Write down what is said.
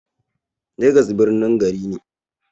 Legas birnin gari ne.